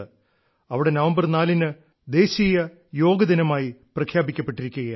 അവിടെ നവംബർ നാലിന് national yoga day ആയി പ്രഖ്യാപിക്കപ്പെട്ടിരിക്കുകയാണ്